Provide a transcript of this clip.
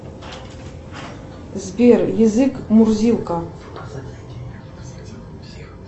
сбер язык мурзилка